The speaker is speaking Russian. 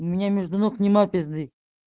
у меня между ног нима пизды